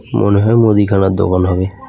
মনে হয় মুদিখানার দোকান হবে.